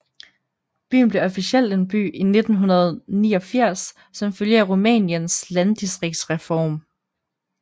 Byen blev officielt en by i 1989 som følge af Rumæniens landdistriktsreform